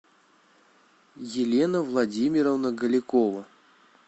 елена владимировна голякова